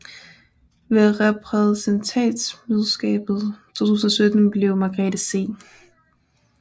Ved reprædentantskabsmødet 2017 blev Margrethe C